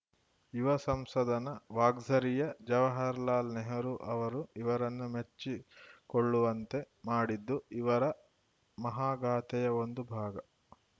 ಯುವ ಸಂಸದನ ವಾಗ್ಝರಿಯು ಜವಹರಲಾಲ್‌ ನೆಹರು ಅವರು ಇವರನ್ನು ಮೆಚ್ಚಿಕೊಳ್ಳುವಂತೆ ಮಾಡಿದ್ದು ಇವರ ಮಹಾಗಾಥೆಯ ಒಂದು ಭಾಗ